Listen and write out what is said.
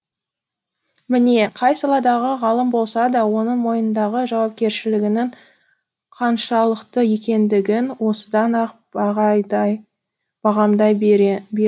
міне қай саладағы ғалым болса да оның мойнындағы жауапкершілігінің қаншалықты екендігін осыдан ақ бағамдай